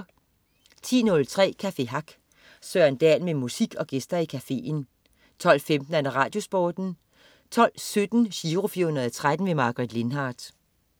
10.03 Café Hack. Søren Dahl med musik og gæster i cafeen 12.15 RadioSporten 12.17 Giro 413. Margaret Lindhardt